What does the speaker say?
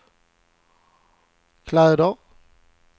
kläder